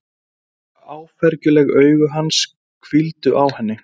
Dökk áfergjuleg augu hans hvíldu á henni.